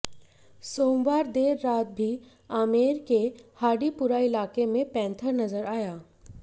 सोमवार देर रात भी आमेर के हाडीपुरा इलाके में पैंथर नजर आया